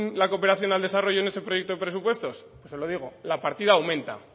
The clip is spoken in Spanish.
la cooperación al desarrollo en ese proyecto de presupuestos se lo digo la partida aumenta